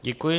Děkuji.